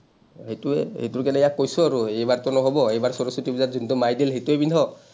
সেইটোৱেই, এইটোৰ কাৰণে ইয়াক কৈছো আৰু, এইবাৰটো নহ’ব। এইবাৰ সৰস্বতী পূজাত যোনটো মায়ে দিল, সেইটোৱেই পিন্ধ।